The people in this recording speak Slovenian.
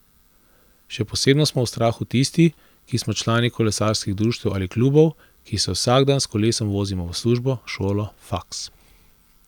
Še posebno smo v strahu tisti, ki smo člani kolesarskih društev ali klubov, ki se vsak dan s kolesom vozimo v službo, šolo, faks ...